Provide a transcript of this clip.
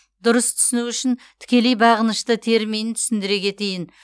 дұрыс түсіну үшін тікелей бағынышты терминін түсіндіре кетейін